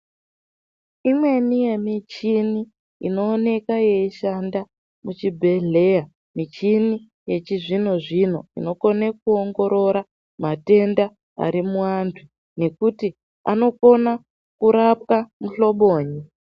Imweni yemichini inooneka yeishanda kuchibhedhleya, michini yechizvino-zvino inokone kuongorora matenda ari muwantu, nekuti anokona kurapwa muhlobonyi.